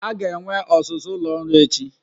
A ga-enwe ọzụzụ ụlọ ọrụ echi.